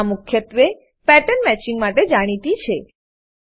આ મુખ્યત્વે pattern matching pattern matching માટે જાણીતી છે